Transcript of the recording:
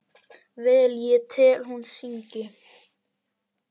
Vel ég tel hún syngi.